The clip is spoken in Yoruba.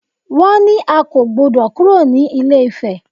Wọ́n ní a kò gbọdọ̀ kúrò ní ilé-ifè!